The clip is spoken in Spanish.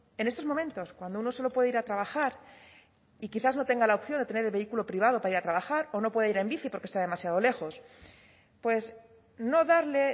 en estos momentos cuando uno solo puede ir a trabajar y quizás no tenga la opción de tener el vehículo privado para ir a trabajar o no puede ir en bici porque está demasiado lejos pues no darle